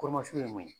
ye mun ye